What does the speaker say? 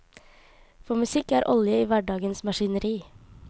For musikk er olje i hverdagens maskineri.